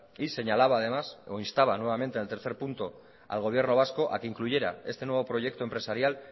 y señalaba además o instaba nuevamente en el tercer punto al gobierno vasco a que incluyera este nuevo proyecto empresarial